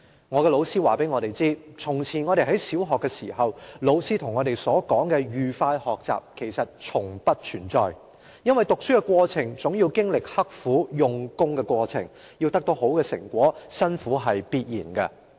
我的老師告訴我們，從前我們在小學的時候，老師跟我們所說的'愉快學習'其實從不存在，因為讀書的過程總要經歷刻苦用功的過程，要得到好的成果，辛苦是必然的。